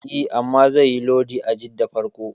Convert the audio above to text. E, amma zaiyi lodi a Jidda farko.